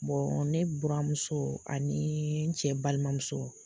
ne buramuso ani n cɛ balimamuso